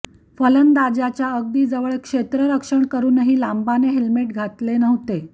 फलंदाजाच्या अगदी जवळ क्षेत्ररक्षण करूनही लांबाने हेल्मेट घातले नव्हते